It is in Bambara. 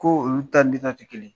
Ko olu ta ni ne tɛ kelen ye.